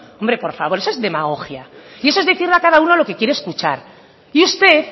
hombre por favor eso es demagogia y eso es decirle a cada uno lo que quiere escuchar y usted